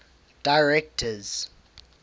directors